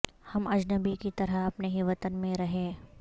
ہم اجنبی کی طرح اپنے ہی وطن میں رہے